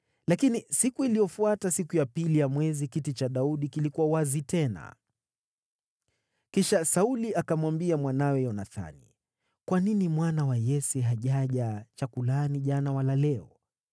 Lakini siku iliyofuata, siku ya pili ya mwezi, kiti cha Daudi kilikuwa wazi tena. Kisha Sauli akamwambia mwanawe Yonathani, “Kwa nini mwana wa Yese hajaja chakulani jana wala leo?”